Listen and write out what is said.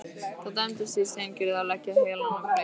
Það dæmdist því á Steingerði að leggja heilann í bleyti.